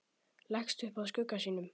Leggst upp að skugga sínum.